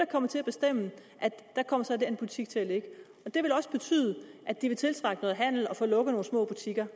kommer til at bestemme at der kommer så den her butik til at ligge det vil også betyde at de vil tiltrække noget handel og få lukket nogle små butikker